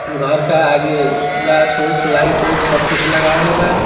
घर के आगे गाछ वाछ लाइट वाइट सब कुछ लागल वा।